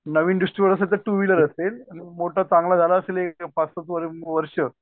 नवीन distributor असेल तर two wheeler असेल आणि मोठा चांगला एक पाच सात वर्ष